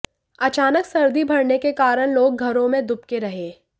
अचानक सर्दी बढऩे के कारण लोग घरों में दुबके रहे